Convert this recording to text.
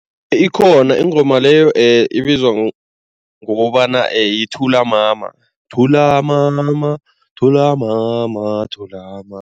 Ikhona ingoma leyo ibizwa ngokobana yithula mama, thula mama thula mama thula mama.